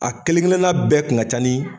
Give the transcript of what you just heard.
A kelen kelenna bɛɛ kun ka ca ni